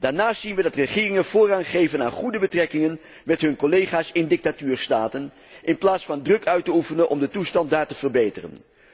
Daarnaast zien wij dat de regeringen voorrang geven aan goede betrekkingen met hun collega's in dictatuurstaten, in plaats van druk uit te oefenen om de toestand daar te verbeteren.